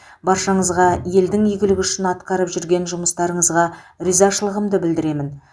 баршаңызға елдің игілігі үшін атқарып жүрген жұмыстарыңызға ризашылығымды білдіремін